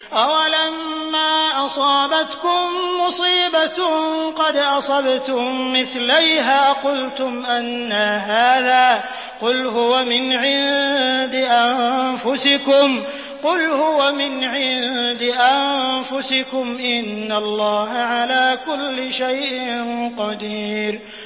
أَوَلَمَّا أَصَابَتْكُم مُّصِيبَةٌ قَدْ أَصَبْتُم مِّثْلَيْهَا قُلْتُمْ أَنَّىٰ هَٰذَا ۖ قُلْ هُوَ مِنْ عِندِ أَنفُسِكُمْ ۗ إِنَّ اللَّهَ عَلَىٰ كُلِّ شَيْءٍ قَدِيرٌ